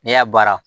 N'i y'a baara